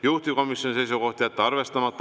Juhtivkomisjoni seisukoht: jätta arvestamata.